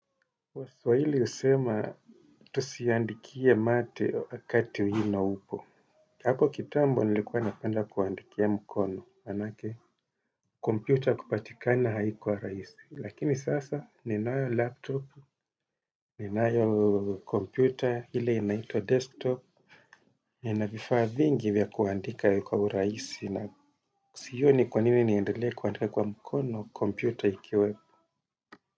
Waswahili husema tusiandikie mate wakati wino upo. Hapo kitambo nilikuwa napenda kuandikia mkono. Maanake kompyuta kupatikana haikuwa rahisi. Lakini sasa ninayo laptop, ninayo kompyuta, ile inaitwa desktop. Ninavifaa vingi vya kuandika kwa urahisi na sioni kwa nini niendelea kuandika kwa mkono kompyuta ikiwepo.